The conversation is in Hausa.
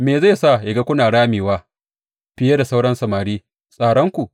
Me zai sa yă ga kuna ramewa fiye da sauran samari, tsaranku?